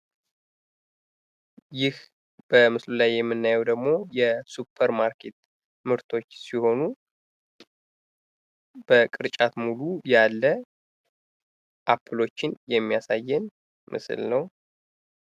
ይህ በምስሉ ላይ የምናየው ደግሞ የሱፐር ማርኬት ምርቶች ሲሆኑ በቅርጫት ሙሉ ያለ አፕሎችን የሚያሳይ ምስል ነው።